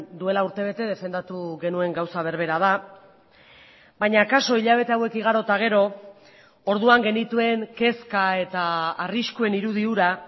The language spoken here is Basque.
duela urtebete defendatu genuen gauza berbera da baina akaso hilabete hauek igaro eta gero orduan genituen kezka eta arriskuen irudi hura